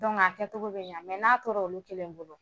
a kɛcogo bi ɲq n'a tor'olu kelen bolo